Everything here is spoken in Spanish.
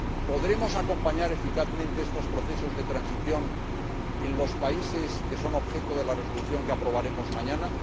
¿Podremos acompañar eficazmente estos procesos de transición en los países que son objeto de la Resolución que aprobaremos mañana?